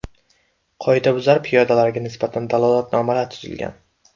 Qoidabuzar piyodalarga nisbatan dalolatnomalar tuzilgan.